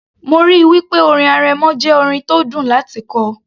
mo ríi wí pé orin arẹmọ jẹ́ orin tó dùn láti kọ